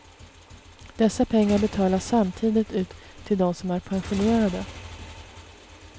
Dessa pengar betalas samtidigt ut till dem som är pensionerade.